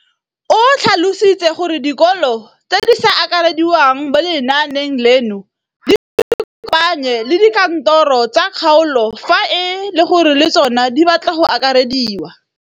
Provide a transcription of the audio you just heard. O tlhalositse gore dikolo tse di sa akarediwang mo lenaaneng leno di ikopanye le dikantoro tsa kgaolo fa e le gore le tsona di batla go akarediwa.